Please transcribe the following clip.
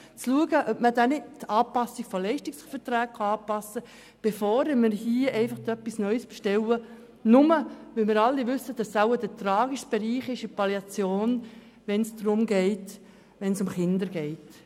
Wir müssen zuerst prüfen, ob die Leistungsverträge angepasst werden können, bevor wir hier etwas Neues bestellen, nur weil es sich um den tragischen Bereich der Kinder in der Palliativpflege handelt.